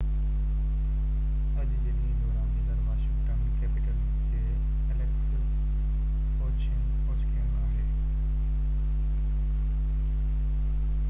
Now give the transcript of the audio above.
اڄ جي ڏينهن جو رانديگر واشنگٽن ڪيپيٽلز جو ايليڪس اووچڪن آهي